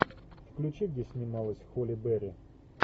включи где снималась холли берри